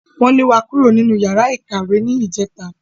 Wọ́n lé wa kúrò nínú yàrá ìkàwé ní ìjẹta